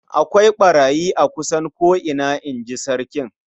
"Akwai ɓarayi a kusan ko'ina", in ji sarkin.